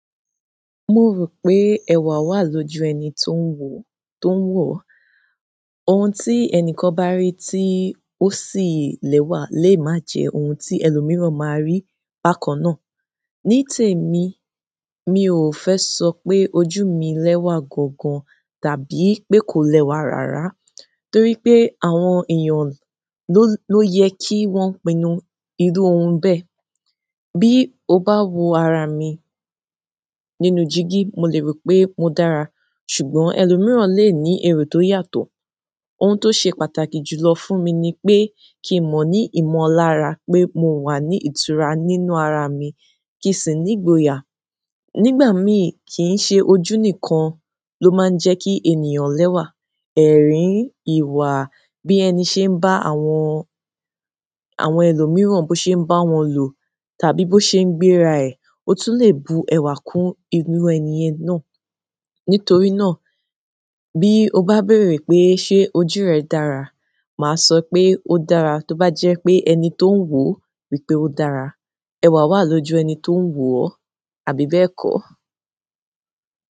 Mo rò pé ẹwà wà lójú ẹni tó ń wò ó, to n wo o. Ohun tí ẹni kan bá rí tí ó sì lẹ́wà lè má jẹ ohun tí ẹlòmíràn máa rí bákan náà. Ní tèmi, mi ò fẹ́ sọ pé ojú mi lẹ́wà gangan tàbí pé kò lẹ́wà rárá torí pé àwọn èèyàn lo ló yẹ kí wọ́n pinnu irú ohun bẹ́ẹ̀. Bí o bá wo ara mi nínú dígí, mo lè rò pé mo dára ṣùgbọ́n ẹlòmíràn lè ní èrò tó yàtọ̀. Ohun tó ṣe pàtàkì jùlọ fún mi ni pé kí n mọ ní ìmọ̀lára pé mo wà ní ìtura nínú ara mi kìí sì nígboyà. Nígbà míì, kì ń ṣe ojú nìkan ló máa ń jẹ́ kí ènìyàn lẹ́wà. Ẹ̀rín, ìwà, bí ẹni ṣe ń bá àwọn, àwọn ẹlòmíràn, bó ṣe ń bá wọn lò tàbí bó ṣe ń gbéra ẹ̀, ó tún lè bu ẹwà kún irú ẹni yen náà. Nítorí náà, bí o bá béèrè pé ṣé ojú rẹ dára, màá sọ pé ó dára tó bá jẹ́ pé ẹni tó ń wò ó rí pé ó dára. Ẹwà wà lójú ẹni tó ń wò ó, àbí bẹ́ẹ̀ kọ́?